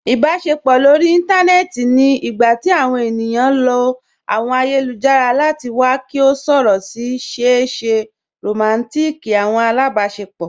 Ìbàṣepọ̀ lórí ìntanẹ̀ẹ̀tì ni nígbàtí àwọn ènìyàn lọ̀ àwọn ayélujára láti wà kí wọ̀ sọ̀rọ̀ sí ṣèè ṣé rọmántík àwọn alábàṣepọ̀.